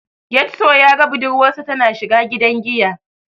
Getso ya ga budurwarsa tana shiga gidan giya.